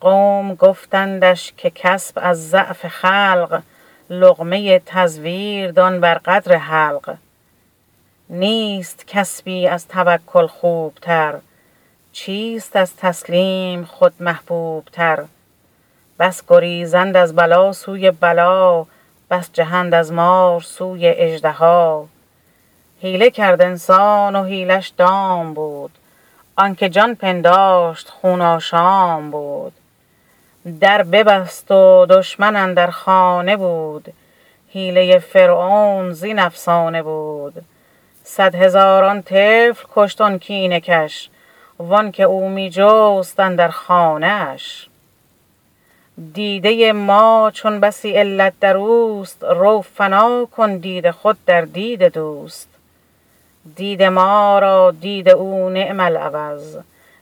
قوم گفتندش که کسب از ضعف خلق لقمه تزویر دان بر قدر حلق نیست کسبی از توکل خوب تر چیست از تسلیم خود محبوب تر بس گریزند از بلا سوی بلا بس جهند از مار سوی اژدها حیله کرد انسان و حیله ش دام بود آنک جان پنداشت خون آشام بود در ببست و دشمن اندر خانه بود حیله فرعون زین افسانه بود صد هزاران طفل کشت آن کینه کش وانک او می جست اندر خانه اش دیده ما چون بسی علت دروست رو فنا کن دید خود در دید دوست دید ما را دید او نعم العوض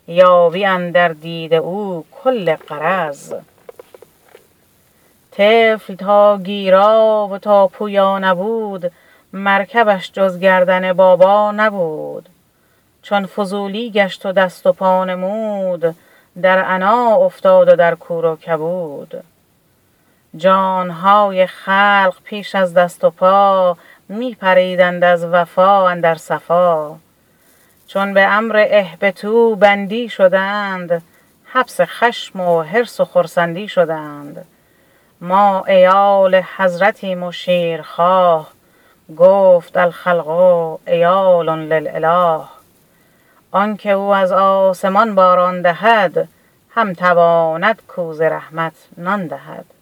یابی اندر دید او کل غرض طفل تا گیرا و تا پویا نبود مرکبش جز گردن بابا نبود چون فضولی گشت و دست و پا نمود در عنا افتاد و در کور و کبود جان های خلق پیش از دست و پا می پریدند از وفا اندر صفا چون به امر اهبطوا بندی شدند حبس خشم و حرص و خرسند ی شدند ما عیال حضرتیم و شیر خواه گفت الخلق عیال للاله آنک او از آسمان باران دهد هم تواند کاو ز رحمت نان دهد